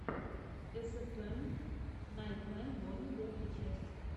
эсэфэм найтмэ бонни первая часть